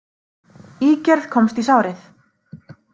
Ígerð komst í sárið